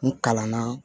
N kalanna